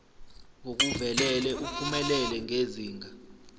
ngokuvelele uphumelele ngezinga